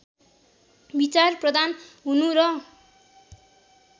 विचारप्रधान हुनु र